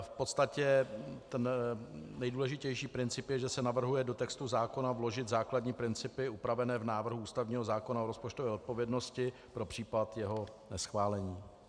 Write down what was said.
V podstatě ten nejdůležitější princip je, že se navrhuje do textu zákona vložit základní principy upravené v návrhu ústavního zákona o rozpočtové odpovědnosti pro případ jeho neschválení.